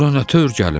Ora nə tör gəlim?